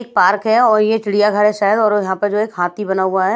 एक पार्क है और ये चिड़िया घर है शायद और यहां पर जो है एक हाथी बना हुआ है।